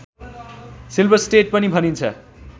silver state पनि भनिन्छ